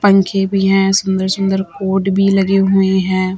पंखे भी है सुंदर सुंदर पॉट भी लगे हुए हैं।